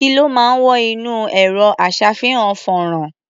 Kí ló máa ń wọ inú ẹ̀rọ-aṣá̀fihàn-fọ́nrán?